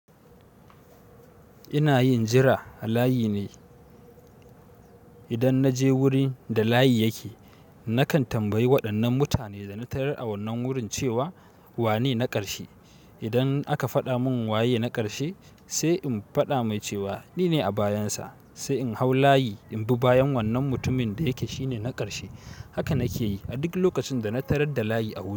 Ina yin jira halayi ne. Idan na je wurin da layi yake, nakan tambayi waɗannan mutane da na tarar a wannan wurin cewa wane na ƙarshe? Idan aka faɗa mun waye na ƙarshe, sai in faɗa mai cewa ni ne a bayansa. Sai in hau layi, in bi bayan wannan mutumin da yake shine na ƙarshe. Haka nake yi a duk lokacin da na tarar da layi a wurin.